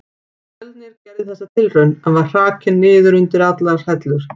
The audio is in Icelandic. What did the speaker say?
Fjölnir gerði þessa tilraun, en var hrakinn niður undir allar hellur.